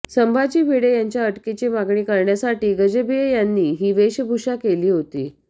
संभाजी भिडे यांच्या अटकेची मागणी करण्यासाठी गजभिये यांनी ही वेशभूषा केली होती